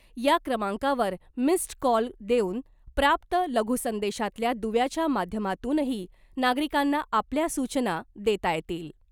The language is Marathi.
या क्रमांकावर मिस्ड कॉल देऊन , प्राप्त लघुसंदेशातल्या दुव्याच्या माध्यमातूनही नागरिकांना आपल्या सूचना देता येतील .